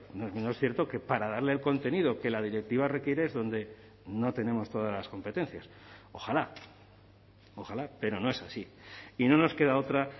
no es menos cierto que para darle el contenido que la directiva requiere es donde no tenemos todas las competencias ojalá ojalá pero no es así y no nos queda otra